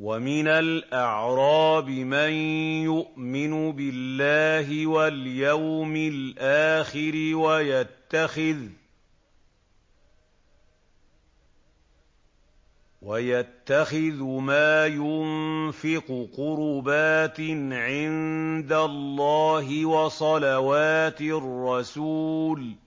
وَمِنَ الْأَعْرَابِ مَن يُؤْمِنُ بِاللَّهِ وَالْيَوْمِ الْآخِرِ وَيَتَّخِذُ مَا يُنفِقُ قُرُبَاتٍ عِندَ اللَّهِ وَصَلَوَاتِ الرَّسُولِ ۚ